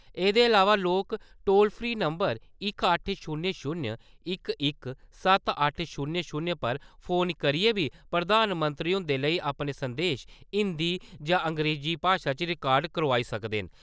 एह्दे अलावा लोक टोल फ्री नम्बर इक अट्ठ शून्य शूनय इक इक सत्त अट्ठ शून्य शून्य पर फोन करियै बी प्रधानमंत्री हुंदे लेई अपने संदेश हिंदी जां अंग्रेजी भाशा च रिकार्ड करोआई सकदे न।